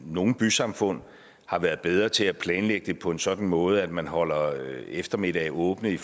i nogle bysamfund har været bedre til at planlægge det på en sådan måde at man holder eftermiddage åbne i